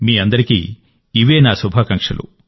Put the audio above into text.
మీ అందరికీ ఇవే నా శుభాకాంక్షలు